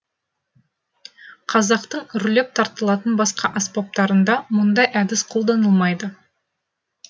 қазақтың үрлеп тартылатын басқа аспаптарында мұндай әдіс қолданылмайды